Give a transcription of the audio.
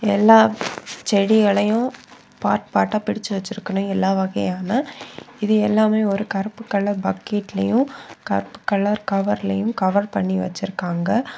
எல்லா செடிகளையும் பார்ட் பார்டா பிரிச்சு வச்சிருகனு எல்லா வகையான இது எல்லாமே ஒரு கருப்பு கலர் பக்கெட்ளையும் கருப்பு கலர் கவர்லையும் கவர் பண்ணி வச்சிருக்காங்க.